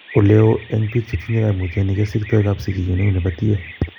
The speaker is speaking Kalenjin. Oleo en biik chetinye koimutioni kesikto kapsikiyo neu nebo tie.